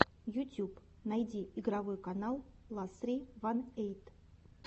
ютюб найти игровой канал ла ссри ван эйт